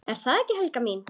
Ertu það ekki, Helga mín?